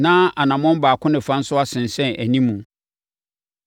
na anammɔn baako ne fa nso asensɛn animu.